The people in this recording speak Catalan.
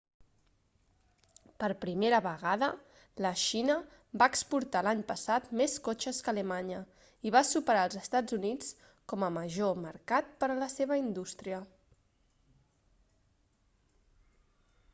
per primera vegada la xina va exportar l'any passat més cotxes que alemanya i va superar els estats units com a major mercat per la seva indústria